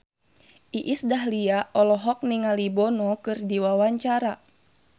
Iis Dahlia olohok ningali Bono keur diwawancara